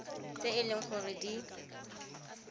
tse e leng gore di